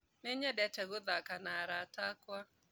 Nĩnyendete gũthaka na arata akwa